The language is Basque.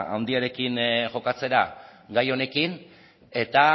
handiarekin jokatzera gai honekin eta